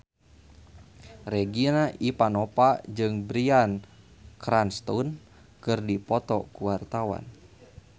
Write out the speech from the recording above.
Regina Ivanova jeung Bryan Cranston keur dipoto ku wartawan